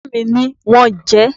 Bàbá mi ní wọn jẹ ẹ́